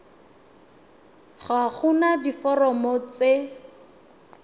ga go na diforomo tse